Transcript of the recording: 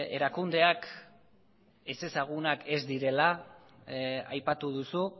erakundeak ezezagunak ez direla aipatu duzu